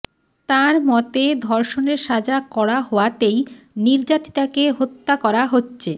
তাঁর মতে ধর্ষণের সাজা কড়া হওয়াতেই নির্যাতিতাকে হত্যা করা হচ্ছে